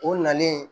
O nalen